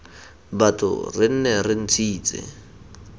batho re nne re ntshitse